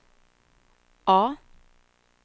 A